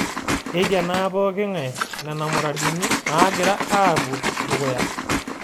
Keikenaa pooki ng'ai nena muradini naagira aapuo dukuya